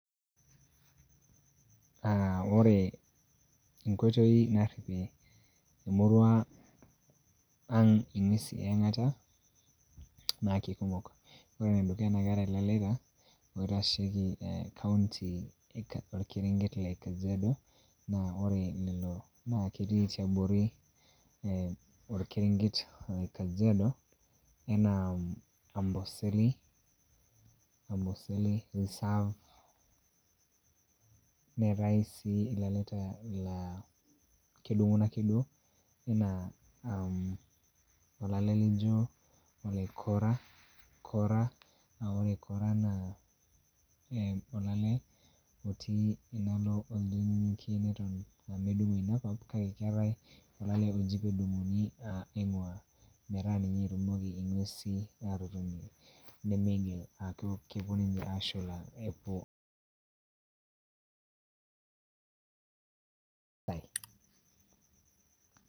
Ah ore enkoitoi narripie emurua ang' ing'uesin eang'ata na kekumok. Ore enedukuya, na keetae ilaleta oitasheki eh kaunti lokerenket le kajiado na ore lelo na ketii tiabori eh orkerenket le kajiado, enaa amboseli reserve, neetae si laleta la kedung'uno ake duo, enaa olale lijo ole kora, na ore kora naa olale otii enaalo oldonyonyokie neton medung'o inakop kake keetae oji pe dung'oki petumoki ng'uesin atotonie aku kepuo ninche aashula.